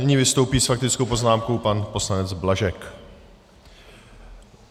Nyní vystoupí s faktickou poznámkou pan poslanec Blažek.